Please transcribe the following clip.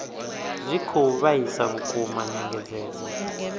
zwi khou vhaisa vhukuma nyengedzedzo